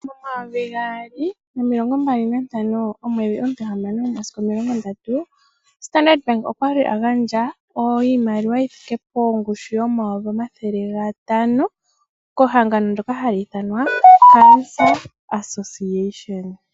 Momayovi gaali nomilongo mbali nantano omwedhi omutihamano omasiku omilongo ndatu, Standard okwa li agandja iimaliwa yi thike pongushu yomayovi omathele gatano kehangano lyoka hali ithanwa Cancer Association.